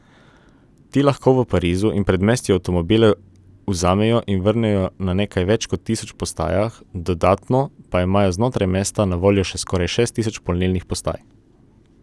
Ti lahko v Parizu in predmestju avtomobile vzamejo in vrnejo na nekaj več kot tisoč postajah, dodatno pa imajo znotraj mesta na voljo še skoraj šest tisoč polnilnih postaj.